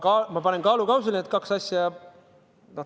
Ma panen kaalukausile need kaks asja.